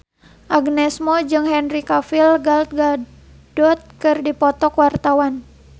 Agnes Mo jeung Henry Cavill Gal Gadot keur dipoto ku wartawan